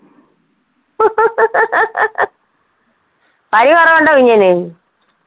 പനി കുറവുണ്ടോ കുഞ്ഞിന്?